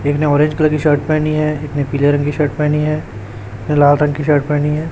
एक ने orange colour की शर्ट पहनी है एक ने पीले रंग की शर्ट पहनी है लाल रंग की शर्ट पहनी हैं।